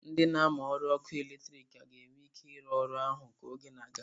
Ndị na-amụ ọrụ ọkụ eletrik ka ga-enwe ike ịrụ ọrụ ahụ ka oge na-aga